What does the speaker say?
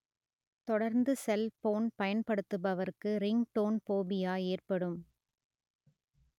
தொடர்ந்து செல்போன் பயன்படுத்துபவர்கு ringtone phobia ஏற்படும்